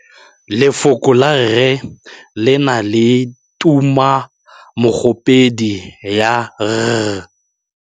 Lefoko la rre le na le tumammogôpedi ya, r.